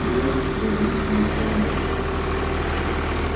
венус презрительно ухмыльнулся